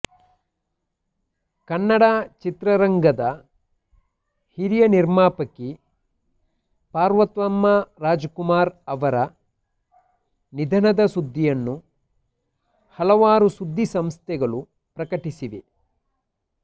ಕನ್ನಡ ಚಿತ್ರರಂಗದ ಹಿರಿಯ ನಿರ್ಮಾಪಕಿ ಪಾರ್ವತಮ್ಮ ರಾಜಕುಮಾರ್ ಅವರ ನಿಧನದ ಸುದ್ದಿಯನ್ನು ಹಲವಾರು ಸುದ್ದಿ ಸಂಸ್ಥೆಗಳು ಪ್ರಕಟಿಸಿವೆ